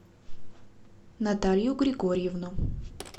наталью григорьевну